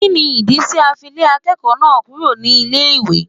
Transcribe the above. Kínni ìdí tí a fi lé akẹ́kọ̀ọ́ náà kúrò nílé ìwé.?